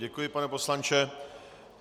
Děkuji, pane poslanče.